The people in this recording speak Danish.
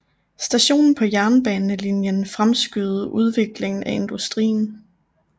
Stationen på jernbanelinjen fremskyndede udviklingen af industrien